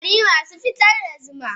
kwari masu fitar da zuma.